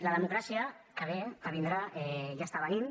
la democràcia que ve que vindrà ja està venint